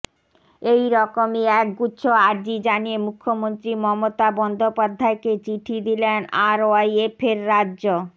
এই রকমই এক গুচ্ছ আর্জি জানিয়ে মুখ্যমন্ত্রী মমতা বন্দ্যোপাধ্যায়কে চিঠি দিলেন আরওয়াইএফের রাজ্য